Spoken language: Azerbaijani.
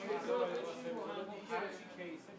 Bir-bir gəl hamısı.